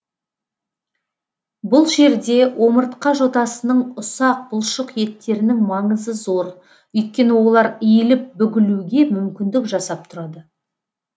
бұл жерде омыртқа жотасының ұсақ бұлшық еттерінің маңызы зор өйткені олар иіліп бүгілуге мүмкіндік жасап тұрады